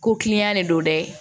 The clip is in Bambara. Ko kiliyan de don dɛ